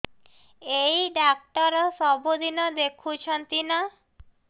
ଏଇ ଡ଼ାକ୍ତର ସବୁଦିନେ ଦେଖୁଛନ୍ତି ନା